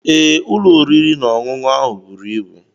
Ee, ụlọ oriri na ọṅụṅụ ahụ buru ibu.